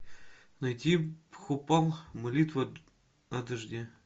найти бхопал молитва о дожде